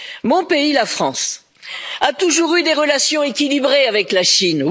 Mon pays, la France, a toujours eu des relations équilibrées avec la Chine.